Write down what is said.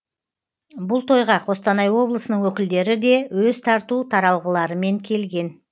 бұл тойға қостанай облысының өкілдері де өз тарту таралғыларымен келген